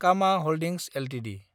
Khama holdings Ltd